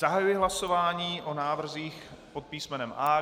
Zahajuji hlasování o návrzích pod písmenem A.